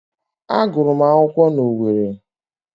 Agụrụ m akwụkwọ na Owerri